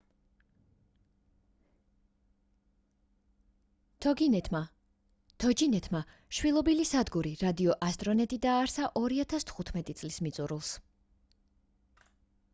toginet-მა შვილობილი სადგური რადიო astronet დააარსა 2015 წლის მიწურულს